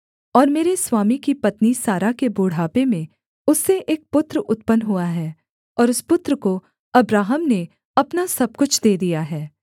और मेरे स्वामी की पत्नी सारा के बुढ़ापे में उससे एक पुत्र उत्पन्न हुआ है और उस पुत्र को अब्राहम ने अपना सब कुछ दे दिया है